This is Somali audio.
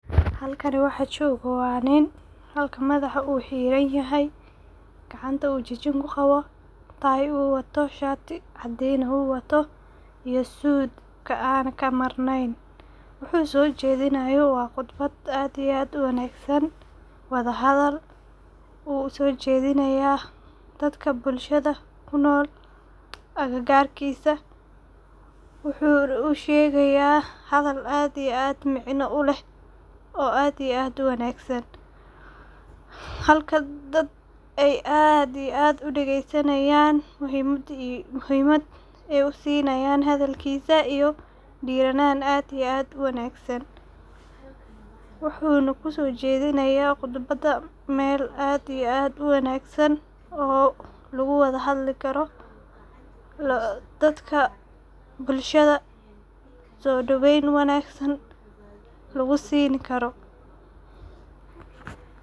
Halkani waxa joga waa nin ,halka madaxa u xiran yahay ,gacanta u jijin ku qawo. Tayo u watoo shatii cadin ah iyo sudka aan ka marnayn wuxu soo jedinayo waa khudbaad aad iyo aad u wanagsan, wadha hadal u uso jedinaya dadka bulshada kunool agagarkisa wuxuna u shegaya hadal aad iyo aad micno u leh oo aadna u wanagsan ,halka dad ay aad iyo aad u dageysanayan waxey hadalkisa ay muhimad u sinayan iyo dhiranan aad iyo aad u wanagsan wuxuna kuso jedinaya khudbada meel aad iyo aad u wanagsan lagu wadha hadli karo dadka bulshada so daweyn wanagsan lagu sini karo.